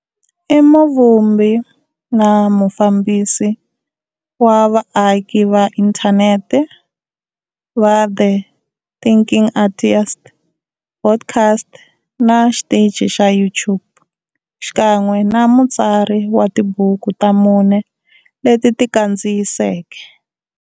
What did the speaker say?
I muvumbi na mufambisi wa vaaki va inthanete va The Thinking Atheist, podcast, na xitichi xa YouTube, xikan'we na mutsari wa tibuku ta mune leti ti ti kandziyiseke.